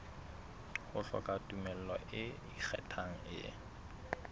hloka tumello e ikgethang e